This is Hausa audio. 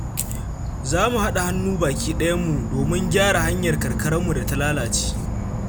Za mu haɗa hannu baki ɗayan mu domin gyara hanyar karkararmu da ta lalace.